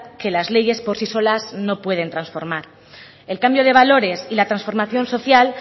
que las leyes por sí solas no pueden transformar el cambio de valores y la transformación social